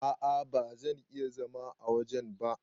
A'a ba zan iya zama wajen ba.